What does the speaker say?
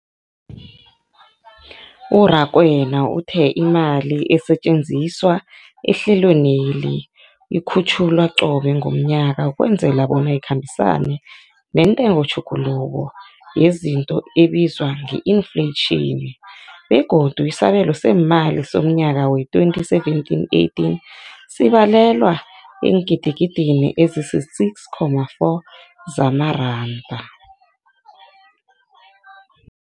U-Rakwena uthe imali esetjenziswa ehlelweneli ikhutjhulwa qobe ngomnyaka ukwenzela bona ikhambisane nentengotjhuguluko yezinto ebizwa nge-infleyitjhini, begodu isabelo seemali somnyaka we-2017, 18 sibalelwa eengidigidini ezisi-6.4 zamaranda.